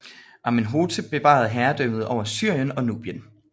Amenhotep bevarede herredømmet over Syrien og Nubien